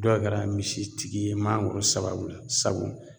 Dɔw kɛra misitigi ye mangoro sababu la sabu